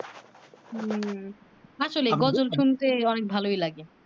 হম আসলেই শুনতে অনেক ভালোই লাগে